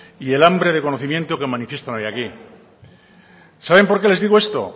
y el hambre de conocimiento que manifiestan hoy aquí saben porque les digo esto